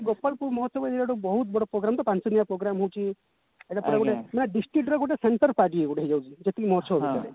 ଗୋପାଳପୁର ମହୋତ୍ସବ ଏଇଟା ଗୋଟେ ବହୁତ ବଡ program ତ ପାଞ୍ଚ ଦିନିଆ program ହଉଛି ଏବେ ପୁରା ଗୋଟେ ଥିଲା district ର ଗୋଟେ centre part ଇଏ ଗୋଟେ ହେଇଯାଇଛି ଯେତିକି ମହୋତ୍ସବ ଭିତରେ